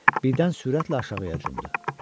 Birdən sürətlə aşağıya cumdu.